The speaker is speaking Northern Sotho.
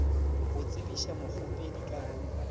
go tsebiša mokgopedi ka go